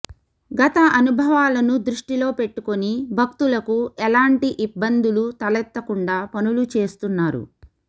గత అనుభావాలను దృష్టిలో పెట్టుకుని భక్తులకు ఎలాంటి ఇబ్బందులు తలెత్త కుండా పనులు చేస్తున్నారు